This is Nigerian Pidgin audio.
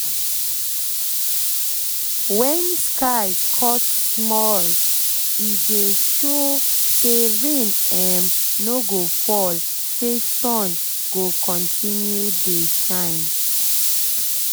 when sky cut small small e dey show say rain um no go fall say sun go continue dey shine